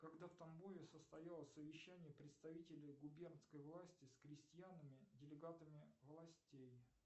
когда в тамбове состоялось совещание представителей губернской власти с крестьянами делегатами властей